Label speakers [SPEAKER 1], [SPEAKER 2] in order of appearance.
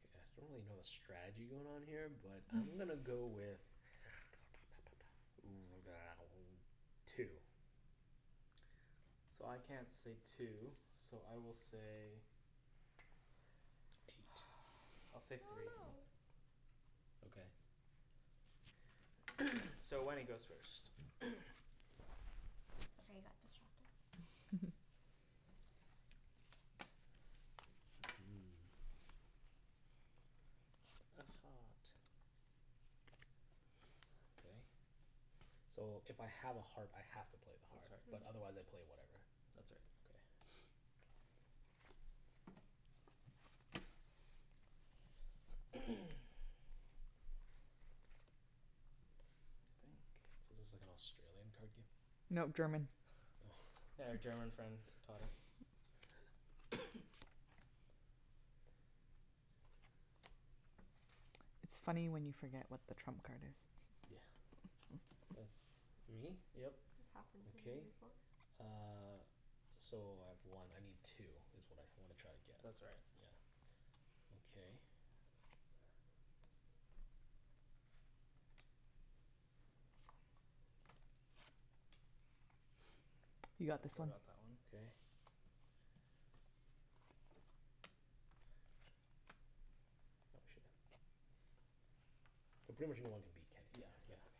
[SPEAKER 1] K, I acutally don't really know the strategy going on here but I'm gonna go with two.
[SPEAKER 2] So I can't say two, so I will say, I'll say three.
[SPEAKER 1] Okay.
[SPEAKER 2] So Wenny goes first
[SPEAKER 3] Sorry, I got distracted.
[SPEAKER 1] Okay. So if I have a heart I have to play the
[SPEAKER 2] That's
[SPEAKER 1] heart. But
[SPEAKER 2] right.
[SPEAKER 1] otherwise I play whatever.
[SPEAKER 2] That's right.
[SPEAKER 1] Okay. So this is like Australian card game?
[SPEAKER 4] No, German.
[SPEAKER 2] Yeah, our German friend taught us.
[SPEAKER 4] It's funny when you forget what the trump card is.
[SPEAKER 1] Yeah. That's me?
[SPEAKER 2] Yep.
[SPEAKER 1] Okay uh, so I have one. I need two, it's what I wanna try and get.
[SPEAKER 2] That's right
[SPEAKER 1] Yeah, okay.
[SPEAKER 4] You
[SPEAKER 2] So
[SPEAKER 4] got this
[SPEAKER 2] Phil
[SPEAKER 4] one.
[SPEAKER 2] got that one.
[SPEAKER 1] Okay. Oh shoot. I pretty much know I wanna beat Kenny.
[SPEAKER 2] Yeah, exactly.